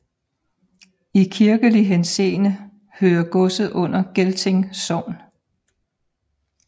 I kirkelig henseende hører godset under Gelting Sogn